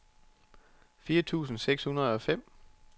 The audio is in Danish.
fire tusind seks hundrede og fem